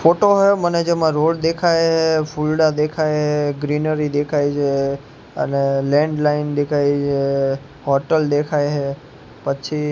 photo હે મને જેમા રોડ દેખાય હે ફૂલડા દેખાય હે ગ્રેનરી દેખાય છે અને લેન્ડલાઇન દેખાય છે હોટલ દેખાય હે પછી--